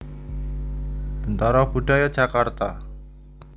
Bentara Budaya Jakarta